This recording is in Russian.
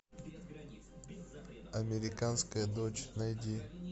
американская дочь найди